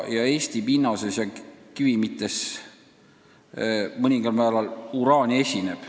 Eesti pinnases ja kivimites mõningal määral uraani esineb.